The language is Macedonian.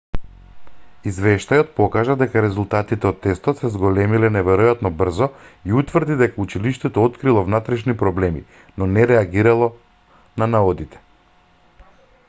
извештајот покажа дека резултатите од тестот се зголемиле неверојатно брзо и утврди дека училиштето открило внатрешни проблеми но не реагирало на наодите